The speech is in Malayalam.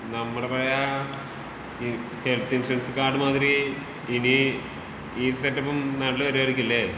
നമ്മുടെ പഴേ ഈ ഹെൽത്ത് ഇൻഷുറൻസ് കാർഡ് മാതിരി ഇനീ ഈ സെറ്റപ്പും നാട്ടില് വരുവായിരിക്കുമല്ലേ?